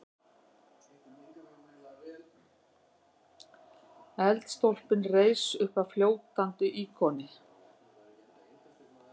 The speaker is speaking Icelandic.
Eldstólpinn reis uppaf fljótandi íkoni.